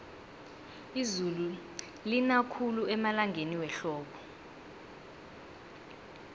izulu lina khulu emalangeni wehlobo